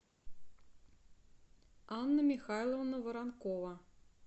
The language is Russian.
анна михайловна воронкова